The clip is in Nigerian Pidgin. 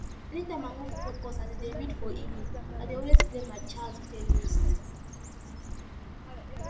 anytime i wan focus as i dey read for evening i dey always play my jazz playlist